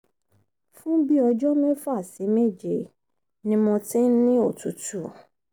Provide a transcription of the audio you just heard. fun bi ọjọ́ mẹ́fà sí méje ní mo ti ń ni otutu